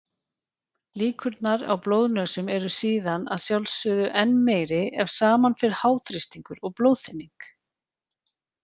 Líkurnar á blóðnösum eru síðan að sjálfsögðu enn meiri ef saman fer háþrýstingur og blóðþynning.